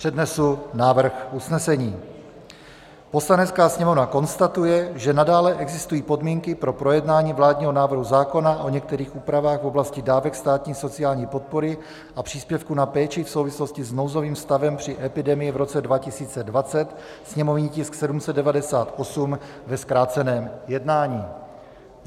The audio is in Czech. Přednesu návrh usnesení: "Poslanecká sněmovna konstatuje, že nadále existují podmínky pro projednání vládního návrhu zákona o některých úpravách v oblasti dávek státní sociální podpory a příspěvku na péči v souvislosti s nouzovým stavem při epidemii v roce 2020, sněmovní tisk 798 ve zkráceném jednání."